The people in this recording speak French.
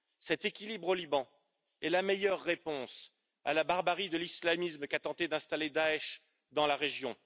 Cet équilibre au Liban est la meilleure réponse à la barbarie de l'islamisme qu'a tenté d'installer Daech dans la région.